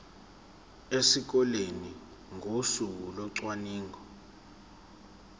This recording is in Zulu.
esikoleni ngosuku locwaningo